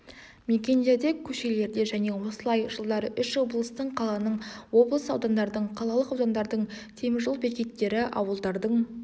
мекендерде көшелерде және осылай жылдары үш облыстың қаланың облыс аудандардың қалалық аудандардың теміржол бекеттері ауылдардың